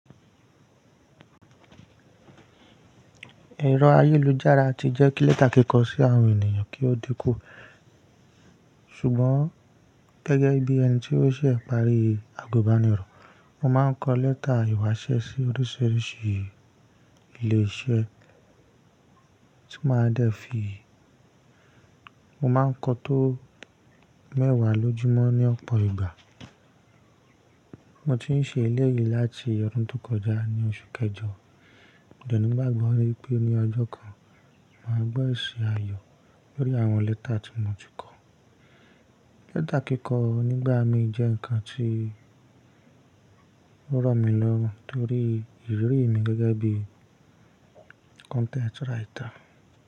Ẹrọ ayélujára ti jẹ́ kí lẹ́tà kíkọ sí àwọn ènìyàn kí ó dínkù. Ṣùgbọ́n gẹ́gẹ́ bí ẹni tí ó ṣẹ̀ pàrí àgùnbánirọ̀, mo máa ń kọ lẹ́tà ìwásẹ́ sí oríṣiríṣi ilé iṣẹ́ tí máa dẹ́ fi. Mo máa ń kọ tó mẹ́wàá lójúmọ́ ní ọ̀pọ̀ ìgbà. Mo ti ń ṣe eléyìí láti ọdún tó kọjá ní oṣù kẹjọ, Mo de n'igbagbọ wipé ní ọjọ́ kan máa gbọ́ esi ayọ̀ lórí àwọn lẹ́tà tí mo ti kọ. Lẹ́tà kíkọ nígbà mí jẹ́ ǹkan tí o rọ̀ mí lọ́rùn torí ìrírí mi gẹ́gẹ́ bí content writer.